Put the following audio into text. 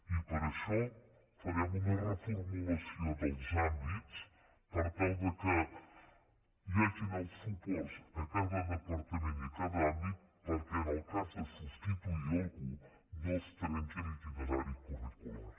i per això farem una reformulació dels àmbits per tal que hi hagin els suports a cada departament i a cada àmbit perquè en el cas de substituir algú no es trenqui l’itinerari curricular